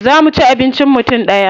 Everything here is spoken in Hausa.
Za mu ci abincin mutum ɗaya.